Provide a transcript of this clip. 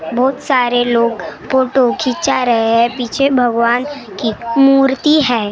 बहुत सारे लोग फोटो खिंचा रहे हैं पीछे भगवान की मूर्ति हैं।